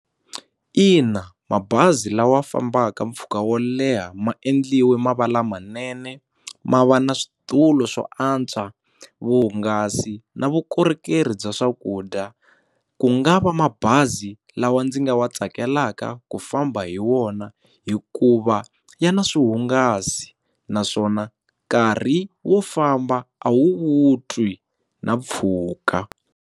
Ina, mabazi lawa fambaka mpfhuka wo leha ma endliwe ma va lamanene ma va na switulu swo antswa vuhungasi na vukorhokeri bya swakudya ku nga va mabazi lawa ndzi nga wa tsakelaka ku famba hi wona hikuva ya na swihungasi naswona nkarhi wo famba a wu wu twi na mpfhuka.